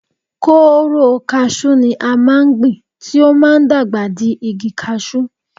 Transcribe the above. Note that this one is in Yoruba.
Kóóró kasú ni a máa ń gbìn tí ó máa ń dàgbà di igi kasú.